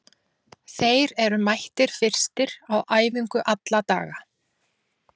Þeir eru mættir fyrstir á æfingu alla daga.